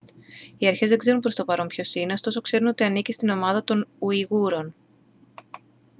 οι αρχές δεν ξέρουν προς το παρόν ποιος είναι ωστόσο ξέρουν ότι ανήκει στην ομάδα των ουιγούρων